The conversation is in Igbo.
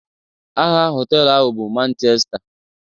Aha hotelu ahụ bụ Manchesta.